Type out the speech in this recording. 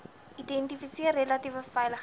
identifiseer relatief veilige